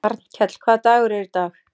Arnkell, hvaða dagur er í dag?